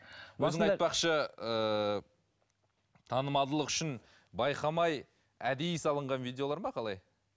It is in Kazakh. ыыы танымалдылық үшін байқамай әдейі салынған видеолар ма қалай